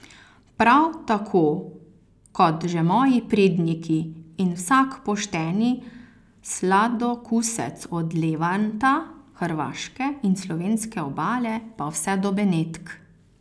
Prav tako kot že moji predniki in vsak pošteni sladokusec od Levanta, hrvaške in slovenske obale pa vse do Benetk.